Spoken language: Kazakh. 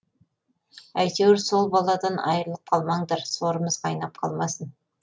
әйтеуір сол баладан айырылып қалмаңдар сорымыз қайнап қалмасын